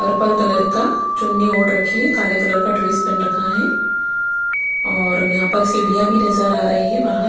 purple colour का चुन्नी ओड रखी है काले कलर का ड्रेस पहन रखा है और यहाँ पर सीढ़ियाँ भी नज़र आ रही है बाहर --